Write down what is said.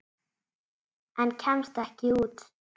En kemst ekki út.